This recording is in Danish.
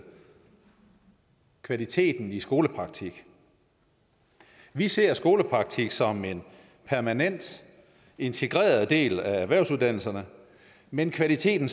kvaliteten i skolepraktik vi ser skolepraktik som en permanent integreret del af erhvervsuddannelserne men kvaliteten